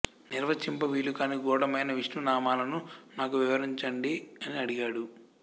నిర్వచింప వీలుకాని గూఢమైన విష్ణునామాలను నాకు వివరించండి అని అడిగాడు